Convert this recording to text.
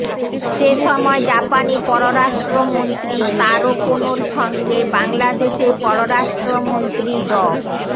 সে সময় জাপানি পররাষ্ট্রমন্ত্রী তারো কোনোর সঙ্গে বাংলাদেশের পররাষ্ট্রমন্ত্রী ড